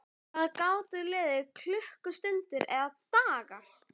Það gátu liðið klukkustundir eða dagar.